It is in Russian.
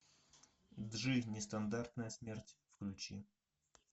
джи нестандартная смерть включи